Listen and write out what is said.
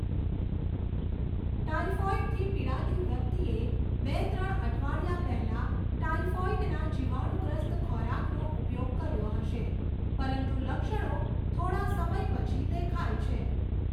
ટાઈફૉઈડથી પીડાતી વ્યક્તિએ બે ત્રણ અઠવાડિયા પહેલાં ટાઈફૉઈડના જીવાણુંગ્રસ્ત ખોરાકનો ઉપયોગ કર્યો હશે, પરંતુ લક્ષણો થોડા સમય પછી દેખાય છે.